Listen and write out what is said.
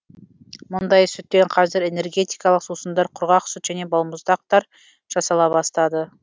мұндай сүттен қазір энергетикалық сусындар құрғақ сүт және балмұздақтар жасала бастады